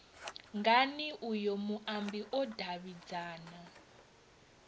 ngani uyo muambi o davhidzana